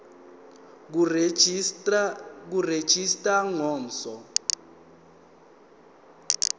kuregistrar of gmos